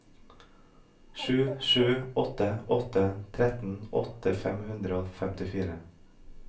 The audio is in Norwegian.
sju sju åtte åtte trettien åtte hundre og femtifire